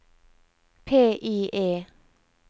PIE